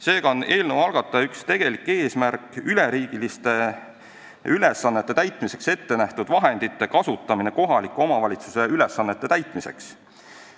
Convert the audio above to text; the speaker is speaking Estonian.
Seega on eelnõu algataja üks tegelikke eesmärke üleriigiliste ülesannete täitmiseks ette nähtud vahendite kasutamine kohalike omavalitsuste ülesannete täitmiseks.